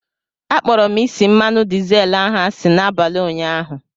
Akpọrọ m isi mmanụ dizel ahụ asị n'abalị ụnyaahụ.